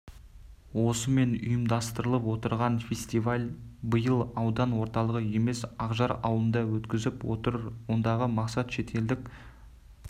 осымен ұйымдастырылып отырған фестиваль биыл аудан орталығы емес ақжар ауылында өткізіліп отыр ондағы мақсат шетелдік